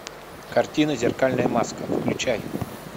картина зеркальная маска включай